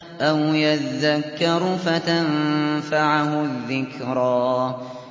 أَوْ يَذَّكَّرُ فَتَنفَعَهُ الذِّكْرَىٰ